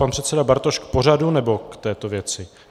Pan předseda Bartoš k pořadu, nebo k této věci?